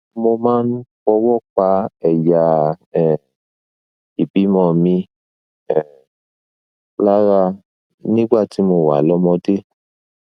mo máa ń fọwọ pa ẹyà um ìbímọ mi um lára nígbà tí mo wà lọmọdé